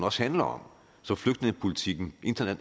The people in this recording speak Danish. også handler om som flygtningepolitikken